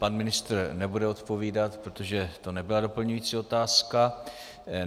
Pan ministr nebude odpovídat, protože to nebyla doplňující otázka.